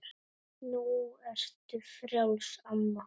Nú ertu frjáls, amma.